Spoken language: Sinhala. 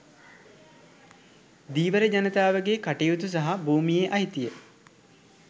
ධීවර ජනතාවගේ කටයුතු සහ භූමියේ අයිතිය